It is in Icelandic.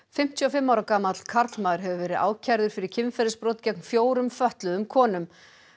fimmtíu og fimm ára gamall karlmaður hefur verið ákærður fyrir kynferðisbrot gegn fjórum fötluðum konum